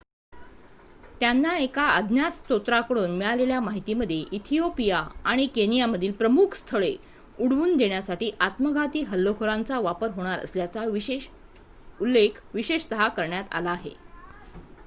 "त्यांना एका अज्ञात स्त्रोताकडून मिळालेल्या माहितीमध्ये इथिओपिया आणि केनियामधील "प्रमुख स्थळे" उडवून देण्यासाठी आत्मघाती हल्लेखोरांचा वापर होणार असल्याचा उल्लेख विशेषतः करण्यात आला आहे.